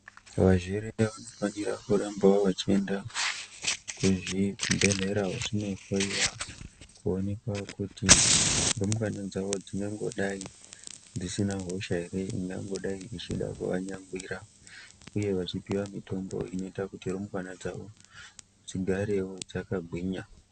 Vazvere vanofanirawo kuramba vachienda kuzvibhedhlera vachioneka kuti rumbwana dzavo dzinongodai dzisina hosha ingangodai ichida kuvanyangwira uye kupuwa mitombo inoita kuti rumbwana dzavo dzigarewo dzakagwinya.